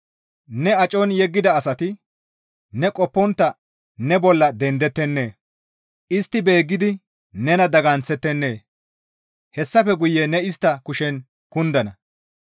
Ne acon yeggida asati ne qoppontta ne bolla dendettennee? Istti beeggidi nena daganththettenee? Hessafe guye ne istta kushen kundana.